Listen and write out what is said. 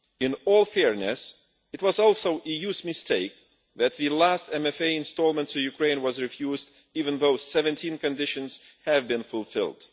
In all fairness, it was also the EU's mistake that the last MFA instalment to Ukraine was refused even though 17 conditions had been fulfilled.